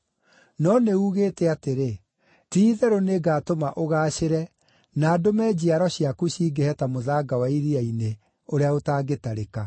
No nĩ uugĩte atĩrĩ, ‘Ti-itherũ nĩngatũma ũgaacĩre na ndũme njiaro ciaku cingĩhe ta mũthanga wa iria-inĩ, ũrĩa ũtangĩtarĩka.’ ”